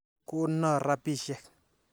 Kono rapisyek.